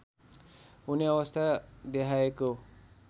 हुने अवस्था देहायको